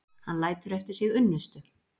Hann lætur eftir sig unnustu